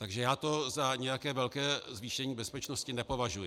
Takže já to za nějaké velké zvýšení bezpečnosti nepovažuji.